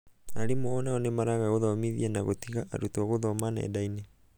arimũ onao nĩmaraga gũthomithia na gũtiga arutwo gũthoma nendainĩ.